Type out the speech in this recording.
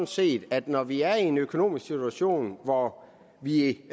set at når vi er i en økonomisk situation hvor vi